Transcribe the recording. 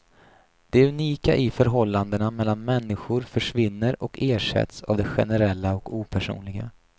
Det unika i förhållandena mellan människor försvinner och ersätts av det generella och opersonliga.